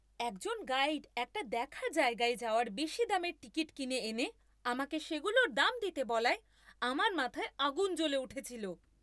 একজন গাইড একটা দেখার জায়গায় যাওয়ার বেশি দামের টিকিট কিনে এনে আমাকে সেগুলোর দাম দিতে বলায় আমার মাথায় আগুন জ্বলে উঠেছিল।